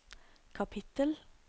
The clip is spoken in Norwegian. kapittel